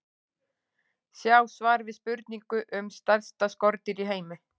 Sjá svar við spurningu um stærsta skordýr í heimi.